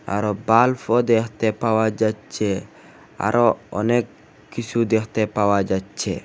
আরও বাল্ব ও দেখতে পাওয়া যাচ্ছে আরও অনেক কিছু দেখতে পাওয়া যাচ্ছে।